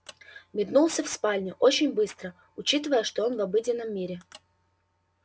метнулся в спальню очень быстро учитывая что он в обыденном мире